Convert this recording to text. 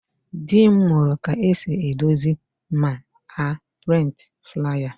Dị m mụrụ ka esi edozi ma a prịntị flaya